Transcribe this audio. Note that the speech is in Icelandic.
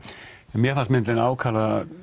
mér fannst myndin ákaflega